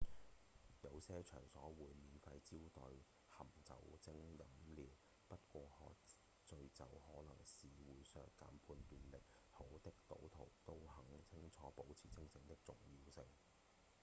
有些場所會免費招待含酒精飲料不過喝醉酒可是會削減判斷力好的賭徒都很清楚保持清醒的重要性